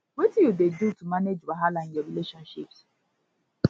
wetin you dey do to manage wahala in your relationships